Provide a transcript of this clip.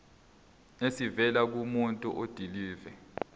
esivela kumuntu odilive